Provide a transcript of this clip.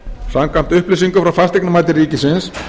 samkvæmt upplýsingum frá fasteignamati ríkisins